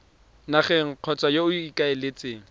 nageng kgotsa yo o ikaeletseng